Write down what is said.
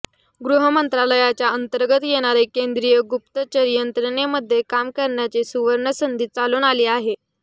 गृह मंत्रालयाच्या अंतर्गत येणारे केंद्रीय गुप्तचर यंत्रणेमध्ये काम करण्याची सुवर्ण संधी चालून आली आहे